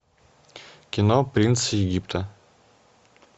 кино принц египта